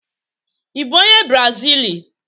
Ị bụ onye brazili?